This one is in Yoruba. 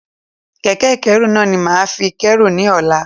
Kẹ̀kẹ́ ìkẹ́rù náà ni mo máa fi kérù ní ọ̀la.